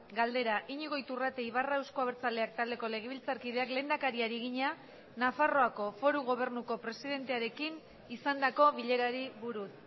galdera iñigo iturrate ibarra euzko abertzaleak taldeko legebiltzarkideak lehendakariari egina nafarroako foru gobernuko presidentearekin izandako bilerari buruz